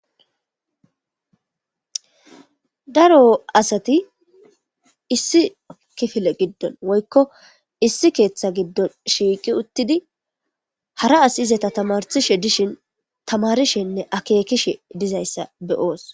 Daro asati issi kifile giddoni woyikko issi keeththa gidoni shiqi uttidi hara asiyi izeta tamarisishe dishshin tamarishenne akezkikishe dizayisa beyos